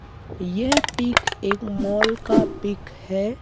यह पिक एक मॉल का पिक है।